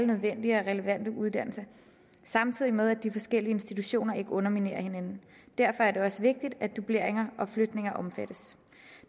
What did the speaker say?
nødvendige og relevante uddannelser samtidig med at de forskellige institutioner ikke underminerer hinanden derfor er det også vigtigt at dubleringer og flytninger omfattes